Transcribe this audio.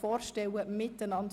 Streichen Streichung